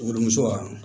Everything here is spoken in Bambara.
Wurumuso